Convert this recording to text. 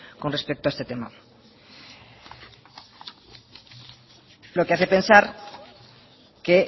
con respecto a este tema lo que hace pensar que